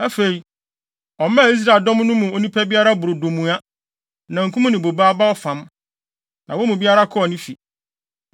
Afei, ɔmaa Israel dɔm no mu onipa biara brodo mua, namkum ne bobe aba ɔfam. Na wɔn mu biara kɔɔ ne fi.